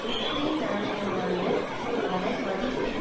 Ukraine நாணயமான அதன் மதிப்பில்